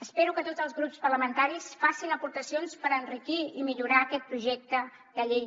espero que tots els grups parlamentaris facin aportacions per enriquir i millorar aquest projecte de llei